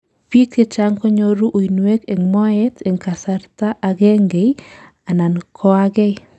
biik chechang konyoru uinwek en moet en kasarta agengei anan koagei